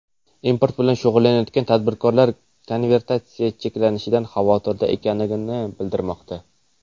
Import bilan shug‘ullanayotgan tadbirkorlar konvertatsiya cheklanishidan xavotirda ekanligini bildirmoqda.